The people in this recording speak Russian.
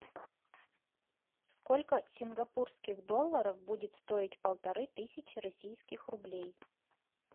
сколько сингапурских долларов будет стоить полторы тысячи российских рублей